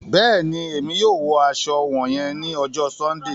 Bẹẹni, Èmí yóò wọ aṣọ wọnyẹn ni ọjọ Sundee